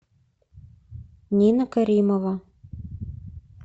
нина каримова